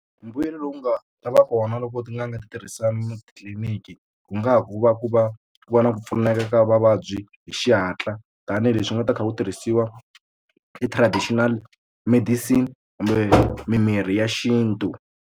Mbuyelo lowu nga ta va kona loko tin'anga ti tirhisana titliliniki ku nga ku va ku va ku va na ku pfuneka ka vavabyi hi xihatla tanihileswi u nga ta kha ku tirhisiwa ti-traditional medicine kambe mimirhi ya xintu.